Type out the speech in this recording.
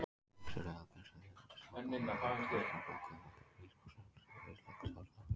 Flyksur eru algengastar hérlendis, snjóhagl er algengt, kornsnjór nokkuð algengur, ískorn sjaldséð og íshagl sárasjaldgæft.